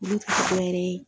.